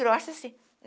Grossa, assim.